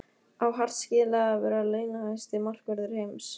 Á Hart skilið að vera launahæsti markvörður heims?